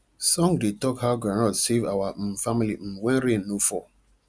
song dey talk how groundnut save our um family um when rain no fall